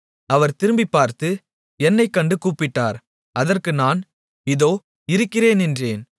அவர் திரும்பிப் பார்த்து என்னைக் கண்டு கூப்பிட்டார் அதற்கு நான் இதோ இருக்கிறேன் என்றேன்